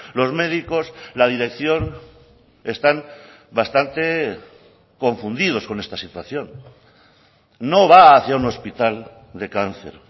los médicos la dirección están bastante confundidos con esta situación no va a hacia un hospital de cáncer